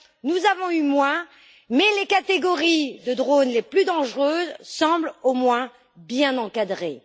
Nous avons eu moins, mais les catégories de drones les plus dangereuses semblent au moins bien encadrées.